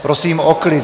Prosím o klid.